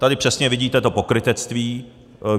Tady přesně vidíte to pokrytectví.